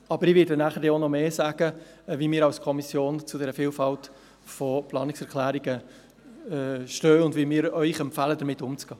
Ich werde später mehr dazu sagen, wie wir als Kommission zu dieser Vielfalt von Planungserklärungen stehen und welchen Umgang damit wir Ihnen empfehlen.